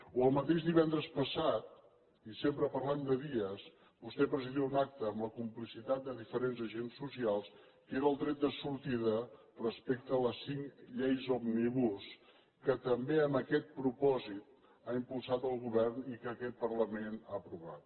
o el mateix divendres passat i sempre parlem de dies vostè presidia un acte amb la complicitat de diferents agents socials que era el tret de sortida respecte a les cinc lleis òmnibus que també amb aquest propòsit ha impulsat el govern i que aquest parlament ha aprovat